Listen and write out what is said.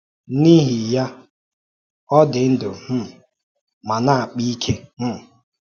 N’ihi ya, ọ “dị ndụ um ma na-akpa ike.” um